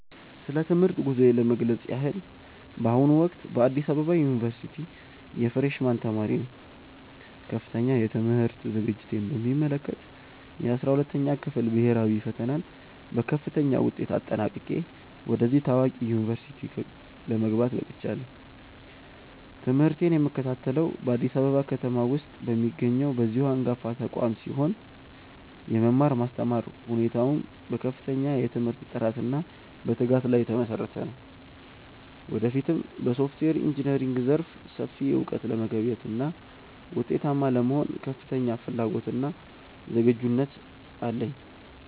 ስለ ትምህርት ጉዞዬ ለመግለጽ ያህል፣ በአሁኑ ወቅት በአዲስ አበባ ዩኒቨርሲቲ የፍሬሽ ማን ተማሪ ነኝ። ከፍተኛ የትምህርት ዝግጅቴን በሚመለከት፣ የ12ኛ ክፍል ብሄራዊ ፈተናን በከፍተኛ ውጤት አጠናቅቄ ወደዚህ ታዋቂ ዩኒቨርሲቲ ለመግባት በቅቻለሁ። ትምህርቴን የምከታተለው በአዲስ አበባ ከተማ ውስጥ በሚገኘው በዚሁ አንጋፋ ተቋም ሲሆን፣ የመማር ማስተማር ሁኔታውም በከፍተኛ የትምህርት ጥራትና በትጋት ላይ የተመሰረተ ነው። ወደፊትም በሶፍትዌር ኢንጂነሪንግ ዘርፍ ሰፊ እውቀት ለመገብየትና ውጤታማ ለመሆን ከፍተኛ ፍላጎትና ዝግጁነት አለኝ።